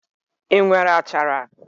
I nwere achara?